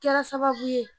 Kɛra sababu ye